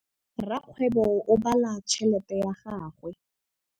Rakgwêbô o bala tšheletê ya gagwe.